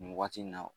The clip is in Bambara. Nin waati nin na